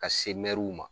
Ka se ma